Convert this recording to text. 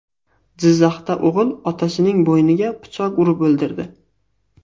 Jizzaxda o‘g‘il otasining bo‘yniga pichoq urib o‘ldirdi.